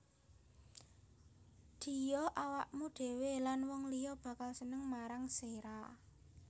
Ddiya awakmu dhwe lan wong liya bakal seneng marang sira